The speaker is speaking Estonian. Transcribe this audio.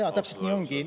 Jaa, täpselt nii ongi.